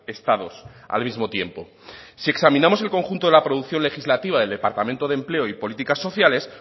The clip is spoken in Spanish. estados al mismo tiempo si examinamos el conjunto de la producción legislativa del departamento de empleo y políticas sociales